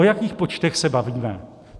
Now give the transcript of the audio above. O jakých počtech se bavíme?